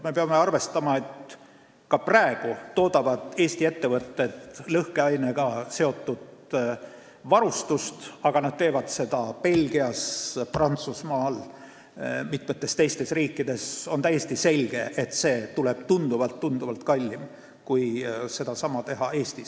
Me peame arvestama, et ka praegu toodavad Eesti ettevõtted lõhkeainega seotud varustust, aga nad teevad seda Belgias, Prantsusmaal ja mitmes teises riigis ning on täiesti selge, et see tuleb tunduvalt-tunduvalt kallim kui teha sedasama Eestis.